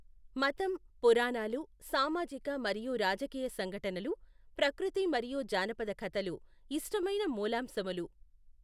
మతం, పురాణాలు, సామాజిక మరియు రాజకీయ సంఘటనలు, ప్రకృతి మరియు జానపద కథలు ఇష్టమైన మూలాంశములు.